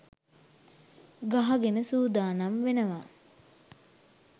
ගහගෙන සූදානම් වෙනව